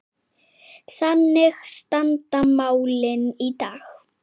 Þannig standa málin í dag.